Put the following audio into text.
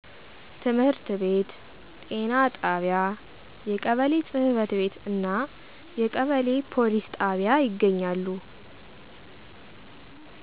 ትምህርት ቤት፣ ጤና ጣቢያ፣ የቀበሌ ጽ/ቤት እና የቀበሌ ፕሊስ ጣቢያ ይገኛሉ።